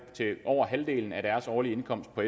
til over halvdelen af deres årlige indkomst på